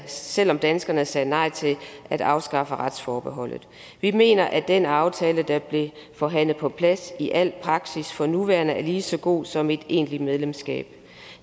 selv om danskerne sagde nej til at afskaffe retsforbeholdet vi mener at den aftale der blev forhandlet på plads i al praksis for nuværende er lige så god som et egentligt medlemskab